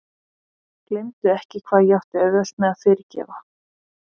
Gleymdu ekki hvað ég átti auðvelt með að fyrirgefa!